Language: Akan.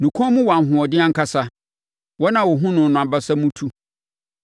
Ne kɔn mu wɔ ahoɔden ankasa; wɔn a wɔhunu no no abasa mu tu.